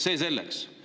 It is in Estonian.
See selleks.